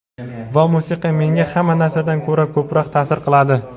Va musiqa menga hamma narsadan ko‘ra ko‘proq ta’sir qiladi.